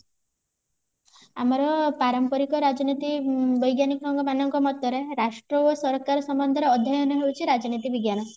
ଆମର ପାରମ୍ପରିକ ରାଜନୀତି ବୈଜ୍ଞାନିକ ଙ୍କ ମତେରେ ରାଷ୍ଟ୍ର ଓ ସରକାର ସମ୍ବଧରେ ଅଧ୍ୟୟନ ହଉଛି ରାଜନୀତି ରାଜନୀତି ବିଜ୍ଞାନ